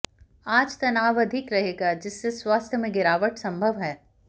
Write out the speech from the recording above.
आज तनाव अधिक रहेगा जिससे स्वास्थ्य में गिरावट संभव है